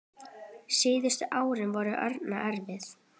Síðustu árin voru Árna erfið.